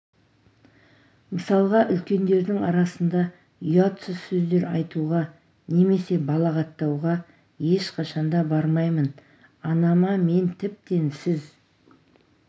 мысалға үлкендердің арасында ұятсыз сөздер айтуға немесе балағаттауға ешқашан да бармаймын анама мен тіптен сіз